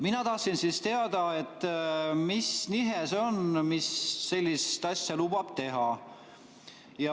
Mina tahtsin siis teada, mis nihe see on, mis sellist asja lubab teha.